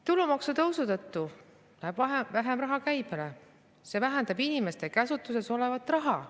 Tulumaksu tõusu tõttu läheb vähem raha käibele, see vähendab inimeste käsutuses olevat raha.